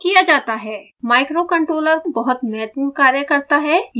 microcontroller बहुत महत्वपूर्ण कार्य करता है